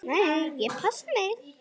Nei, ég passa mig.